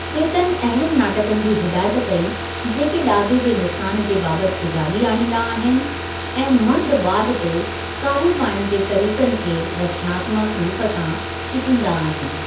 चेतन अहिड़नि नाटकनि जी हिदायत कई जेके डा॒जे जे नुक़सानु जे बाबति सुजागी॒ आणींदा आहिनि ऐं मर्दु वादु ते काबू पाइणु जे तरीक़नि खे रचनात्मकु रूप सां चिटींदा आहिनि।